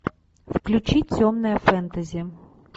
включи темное фэнтези